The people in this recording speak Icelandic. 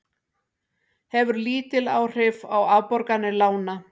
Hefur lítil áhrif á afborganir lána